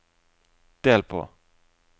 del på